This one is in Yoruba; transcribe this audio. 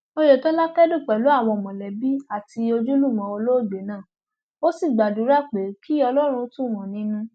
oyetola kẹdùn pẹlú àwọn mọlẹbí àti ojúlùmọ olóògbé náà ó sì gbàdúrà pé kí ọlọrun tù wọn nínú